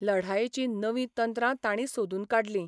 लढायेचीं नवीं तंत्रां तांणी सोदून काडलीं.